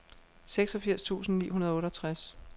seksogfirs tusind ni hundrede og otteogtres